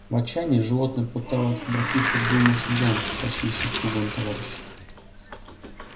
в отчаянии животные попытались обратиться к двум лошадям тащившим фургон товарищи